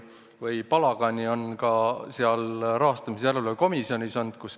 Palagani on ka selles rahastamise järelevalve komisjonis olnud.